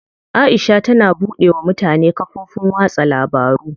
Aisha tana buɗe wa mutane kafofin watsa labaru.